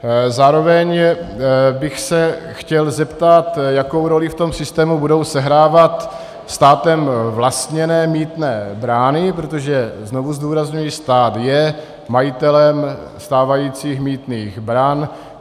Zároveň bych se chtěl zeptat, jakou roli v tom systému budou sehrávat státem vlastněné mýtné brány, protože znovu zdůrazňuji, stát je majitelem stávajících mýtných bran.